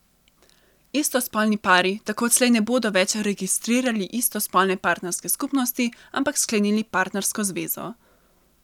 Istospolni pari tako odslej ne bodo več registrirali istospolne partnerske skupnosti, ampak sklenili partnersko zvezo.